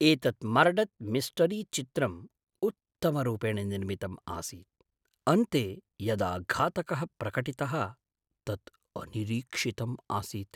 एतत् मर्डत् मिस्टरीचित्रं उत्तमरूपेण निर्मितम् आसीत्, अन्ते यदा घातकः प्रकटितः तत् अनिरीक्षितम् आसीत्।